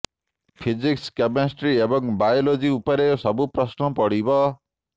physics chemistry ଏବଂ biology ଉପରେ ସବୁ ପ୍ରଶ୍ନ ପଡ଼ିବ